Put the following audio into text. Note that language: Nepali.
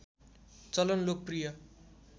चलन लोकप्रिय